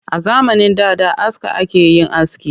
A zamanin da da aska ake yin aski